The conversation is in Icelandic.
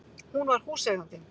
Hún var húseigandinn!